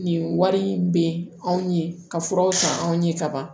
Nin wari in bɛ anw ye ka furaw san anw ye kaban